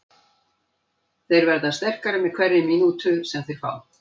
Þeir verða sterkari með hverri mínútu sem þeir fá.